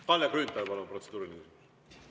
Kalle Grünthal, palun, protseduuriline küsimus!